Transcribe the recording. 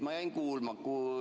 Ma jäin kuulama ...